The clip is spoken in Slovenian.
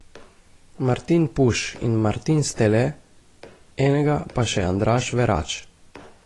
Martin Puš in Martin Stele, enega pa še Andraž Verač.